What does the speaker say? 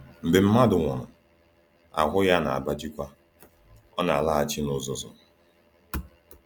Mgbe mmadụ nwụrụ, ahụ ya na-agbajikwa; ọ na-alaghachi n’uzuzu.